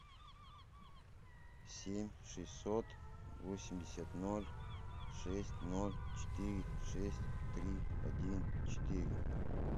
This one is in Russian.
семь шестьсот восемьдесят ноль шесть ноль четыре шесть три один четыре